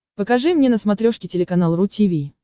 покажи мне на смотрешке телеканал ру ти ви